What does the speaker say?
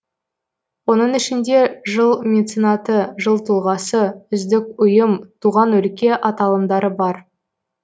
оның ішінде жыл меценаты жыл тұлғасы үздік ұйым туған өлке аталымдары бар